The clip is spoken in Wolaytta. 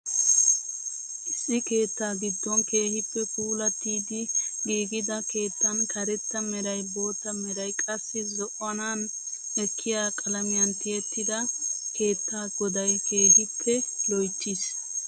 Issi keettaa giddon keehippe puulatiidi gigida keettan karetta meray, bootta meray qassi zo'anaani ekkiyaa qalamiyaan tiyettida keettaa goday keehippe loyttiis!